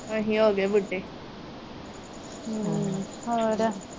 ਅਸੀ ਹੋ ਗਏ ਬੁੱਢੇ ਹੋਰ